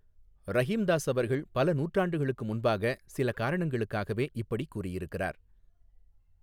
ரஹீம்தாஸ் அவர்கள் பல நூற்றாண்டுகளுக்கு முன்பாக, சில காரணங்களுக்காகவே இப்படிக் கூறியிருக்கிறார்.